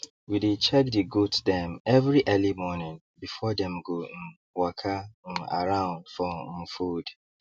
we dey check the goat dem every early morning before dem go um waka um around for um food